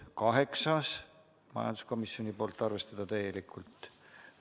Kaheksas ettepanek, majanduskomisjonilt, seisukoht: arvestada täielikult.